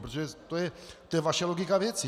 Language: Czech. Protože to je vaše logika věci.